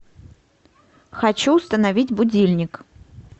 хочу установить будильник